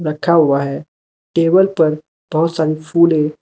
रखा हुआ है टेबल पर बहुत सारी फूले --